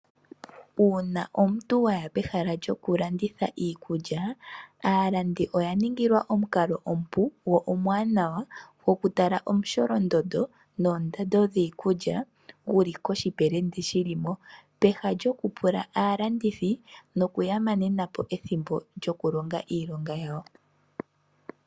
Una omuntu waya pehala lyokulanditha iikulya, aalandi oya ningilwa omukalo omupu go omwanawa goku tala omusholondondo noondando dhiikulya guli guli koshipelende shilimo, peha lyoku pula aalandithi nokuya manenapo ethimbo lyoku longa iilonga yawo.